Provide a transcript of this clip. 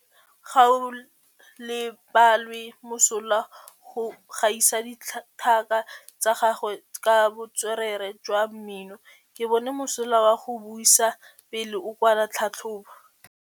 Gaolebalwe o mosola go gaisa dithaka tsa gagwe ka botswerere jwa mmino. Ke bone mosola wa go buisa pele o kwala tlhatlhobô.